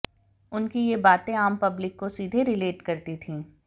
उनकी ये बातें आम पब्लिक को सीधे रिलेट करती थी